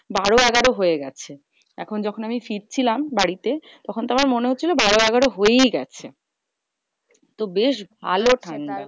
বারো এগারো হয়ে গাছে। এখন যখন আমি ফিরছিলাম বাড়িতে, তখন তো আমার মনে হচ্ছিলো বারো এগারো হয়েই গেছে। তো বেশ ভালো ঠান্ডা।